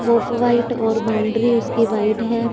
Of white और boundary उसके white हैं।